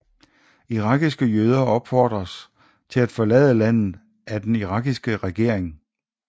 Irakiske jøder opfordredes til at forlade landet af den irakiske regering